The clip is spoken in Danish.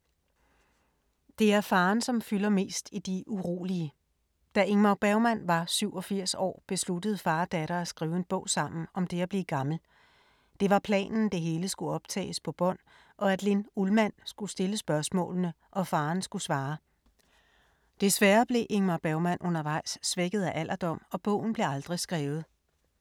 Det er faren, som fylder mest i De urolige. Da Ingmar Bergmann var 87 år, besluttede far og datter at skrive en bog sammen om det at blive gammel. Det var planen, det hele skulle optages på bånd, og at Linn Ullmann skulle stille spørgsmålene og faren skulle svare. Desværre blev Ingmar Bergmann undervejs svækket af alderdom og bogen blev aldrig skrevet.